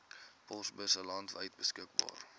posbusse landwyd beskikbaar